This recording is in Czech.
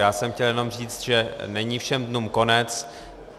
Já jsem chtěl jenom říct, že není všem dnům konec.